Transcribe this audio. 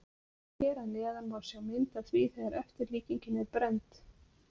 Hér að neðan má sjá mynd af því þegar eftirlíkingin er brennd.